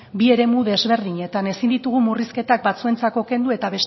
bi eremu desberdinetan ezin ditugu murrizketak batzuentzako kendu eta